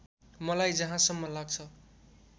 मलाई जहाँसम्म लाग्छ